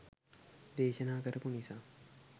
දේශනා කරපු නිසා